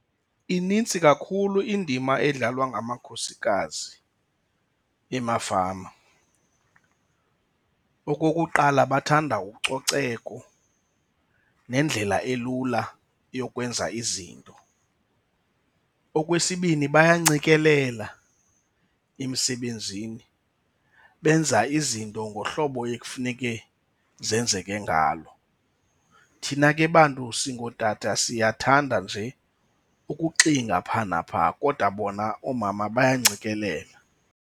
Inintsi kakhulu indima edlalwa ngamakhosikazi emafama. Okokuqala bathanda ucoceko nendlela elula yokwenza izinto. Okwesibini bayancikelela emsebenzini, benza izinto ngohlobo ekufuneke zenzeke ngalo. Thina ke bantu singootata siyathanda nje ukuxinga phaa naphaa kodwa bona oomama bayancikelela.